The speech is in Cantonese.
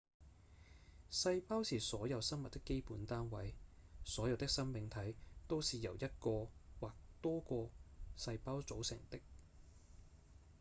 細胞是所有生物的基本單位所有的生命體都是由一個或多個細胞組成的